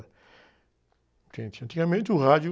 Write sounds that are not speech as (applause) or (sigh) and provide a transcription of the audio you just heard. Que, (unintelligible) antigamente o rádio...